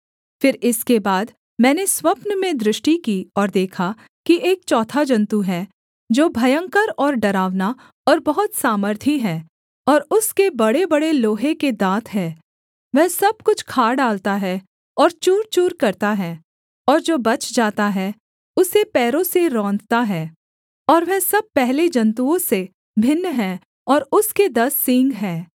फिर इसके बाद मैंने स्वप्न में दृष्टि की और देखा कि एक चौथा जन्तु है जो भयंकर और डरावना और बहुत सामर्थी है और उसके बड़ेबड़े लोहे के दाँत हैं वह सब कुछ खा डालता है और चूरचूर करता है और जो बच जाता है उसे पैरों से रौंदता है और वह सब पहले जन्तुओं से भिन्न है और उसके दस सींग हैं